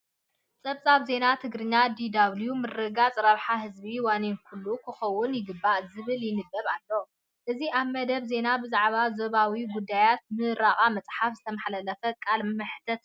ጸብጻብ ዜና ትግርኛ ዲ.ደብሊዩ. "ምርግጋፅ ረብሓ ህዝቢ ዋኒን ኩሉ ክኸውዉን ይግባእ ዝብል ይንበብ ኣሎ፡፡ እዚ ኣብ መደብ ዜና ብዛዕባ ዞባዊ ጉዳያትን ምረቓ መጻሕፍትን ዝተመሓላለፈ ቃለ መሕትት እዩ።